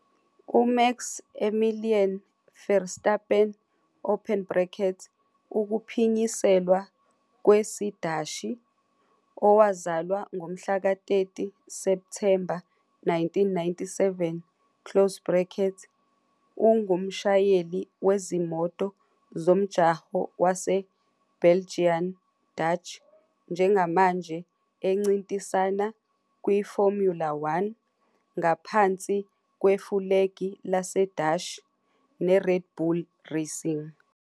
UMax Emilian Verstappen, ukuphinyiselwa kwesiDashi-, owazalwa ngomhlaka 30 Septhemba 1997, ungumshayeli wezimoto zomjaho waseBelgian-Dutch njengamanje encintisana kwiFormula One, ngaphansi kwefulegi laseDashi, neRed Bull Racing.